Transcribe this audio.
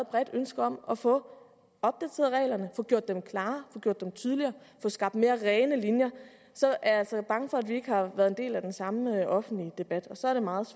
bredt ønske om at få opdateret reglerne få gjort dem klarere få gjort dem tydligere få skabt mere rene linjer så er jeg altså bange for at vi ikke har været en del af den samme offentlige debat og så er det meget